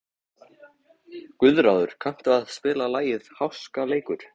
Guðráður, kanntu að spila lagið „Háskaleikur“?